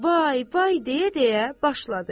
Vay, vay deyə-deyə başladı.